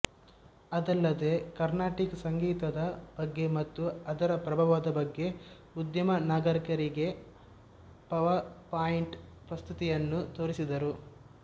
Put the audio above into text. ಅದಲ್ಲದೆ ಕರ್ನಾಟಿಕ್ ಸಂಗೀತದ ಬಗ್ಗೆ ಮತ್ತು ಅದರ ಪ್ರಭಾವದ ಬಗ್ಗೆ ಉದ್ಯಮ ನಾಯಕರಿಗೆ ಪವರ್ಪಾಯಿಂಟ್ ಪ್ರಸ್ತುತಿಗಳನ್ನು ತೋರಿಸಿದರು